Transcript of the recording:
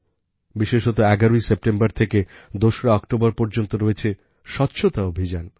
বিশেষতঃ ১১ ই সেপ্টেম্বর থেকে দোসরা অক্টোবর পর্যন্ত রয়েছে স্বচ্ছতা অভিযান